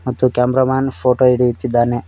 ಮತ್ತು cameraman photo ಹಿಡಿಯುತ್ತಿದ್ದಾನೆ.